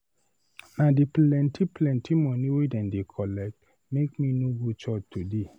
Na di plenty plenty moni wey dem dey collect make me no go church today.